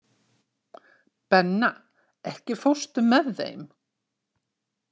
Benna, ekki fórstu með þeim?